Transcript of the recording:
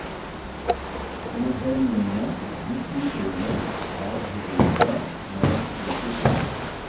न घर्मेण न शीतेन बाध्यते स नरः क्वचित्